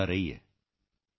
thank you sir thank you ਸਿਰ